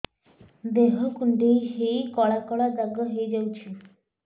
ଦେହ କୁଣ୍ଡେଇ ହେଇ କଳା କଳା ଦାଗ ହେଇଯାଉଛି